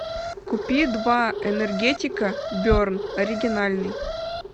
купи два энергетика берн оригинальный